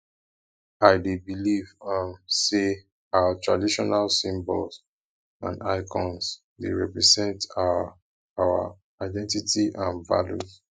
i dey believe um say our traditional symbols and icons dey represent our our identity and values